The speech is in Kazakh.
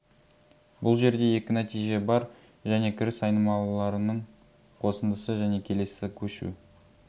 бұл жерде екі нәтиже бар және кіріс айнымалыларының қосындысы және келесі көшу